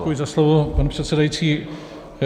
Děkuji za slovo, pane předsedající.